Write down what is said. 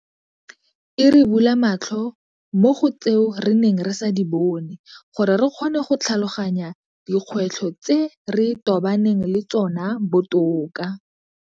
E re bula matlho mo go tseo re neng re sa di bone gore re kgone go tlhaloganya dikgwetlho tse re tobaneng le tsona botoka.